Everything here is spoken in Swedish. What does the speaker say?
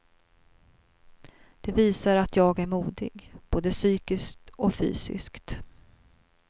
De visar att jag är modig, både psykiskt och fysiskt.